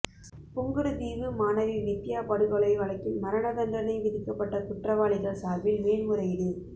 புங்குடுதீவு மாணவி வித்தியா படுகொலை வழக்கில் மரண தண்டனை விதிக்கப்பட்ட குற்றவாளிகள் சார்பில் மேன்முறையீடு